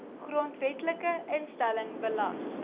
grondwetlike instelling belas